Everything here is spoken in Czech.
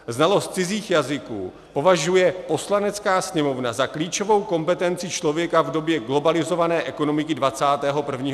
Znalost cizích jazyků považuje Poslanecká sněmovna za klíčovou kompetenci člověka v době globalizované ekonomiky 21. století.